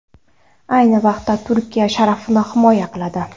Ayni vaqtda Turkiya sharafini himoya qiladi.